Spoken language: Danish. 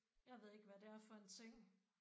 Jeg ved ikke hvad det er for en ting